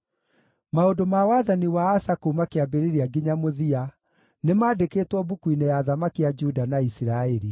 Maũndũ ma wathani wa Asa kuuma kĩambĩrĩria nginya mũthia, nĩmandĩkĩtwo mbuku-inĩ ya athamaki a Juda na Isiraeli.